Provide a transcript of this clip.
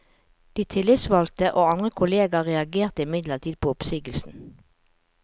De tillitsvalgte og andre kolleger reagerte imidlertid på oppsigelsen.